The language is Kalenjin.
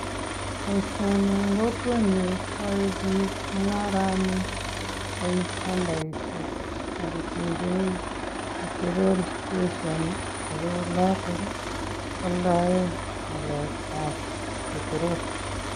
Boisioni eng kokwenyun, ko yae biik mungarani eng andaishek ako tuun keip petrol station ako oloto kwaldae ngalekab petrol.